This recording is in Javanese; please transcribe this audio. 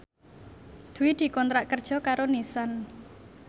Dwi dikontrak kerja karo Nissan